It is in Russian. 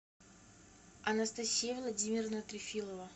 анастасия владимировна трефилова